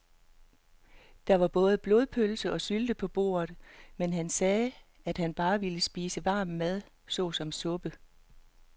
Der var både blodpølse og sylte på bordet, men han sagde, at han bare ville spise varm mad såsom suppe.